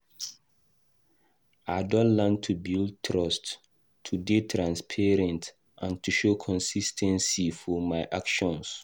I don learn to rebuild trust, to dey transparent and to show consis ten cy for my actions.